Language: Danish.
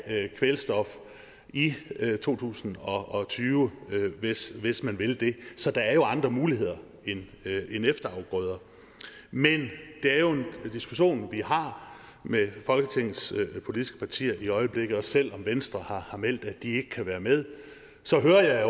af kvælstof i to tusind og tyve hvis man vil det så der er jo andre muligheder end efterafgrøder men det er jo en diskussion vi har med folketingets politiske partier i øjeblikket og selv om venstre har meldt at de ikke kan være med så hører jeg